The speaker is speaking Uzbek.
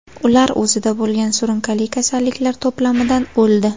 Ular o‘zida bo‘lgan surunkali kasalliklar to‘plamidan o‘ldi.